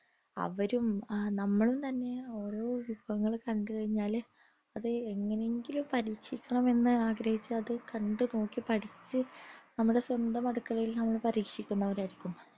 അവരും നമ്മൾ തന്നെ ഓരോ വിഭവങ്ങള് കണ്ടു കഴിക്കാഞ്ഞാല് അത് എങ്ങനെങ്കിലും പരീക്ഷിക്കണമെന്ന് ആഗ്രഹിച്ചത് കണ്ടു നോക്കി പഠിച്ച് നമ്മുടെ സ്സ്വന്തം അടുക്കളയിൽ നമ്മൾ പരീക്ഷിക്കുന്നവരായിരിക്കും